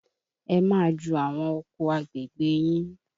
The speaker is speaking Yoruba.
Ẹ máa ju àwọn oko agbègbè yín!